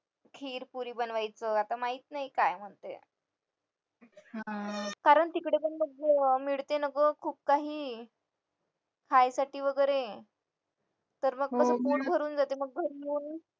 खीर पुरी बनवायचं आता माहित नाही काय म्हणतोय कारण तिकडे पण बघ मिळते ना ग खूप काही खायसाठी वगैरे तर मग पोट भरून जाते घरी येऊन